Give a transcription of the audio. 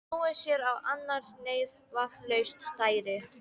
Snúið sér að annarri neyð, vafalaust stærri.